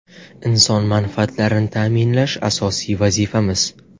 Inson manfaatlarini ta’minlash – asosiy vazifamiz!